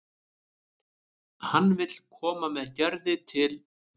Hann vill koma með Gerði til